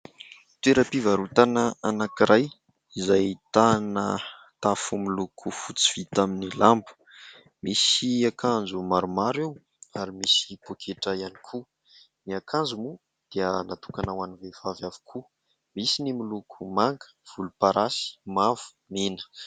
Toeram-pivarotana anakiray izay ahitana tafo miloko fotsy vita amin'ny lamba. Misy akanjo maromaro eo ary misy pôketra ihany koa. Ny akanjo moa dia natokana ho an'ny vehivavy avokoa. Misy ny miloko manga, volomparasy, mavo, mena.